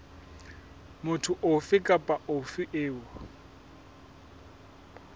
motho ofe kapa ofe eo